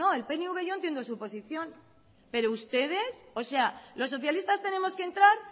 bueno el pnv yo entiendo su posición pero ustedes o sea los socialistas tenemos que entrar